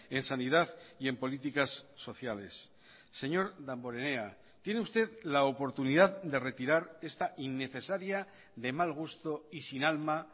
en sanidad y en políticas sociales señor damborenea tiene usted la oportunidad de retirar esta innecesaria de mal gusto y sin alma